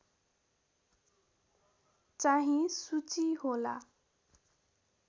चाहिँ सूची होला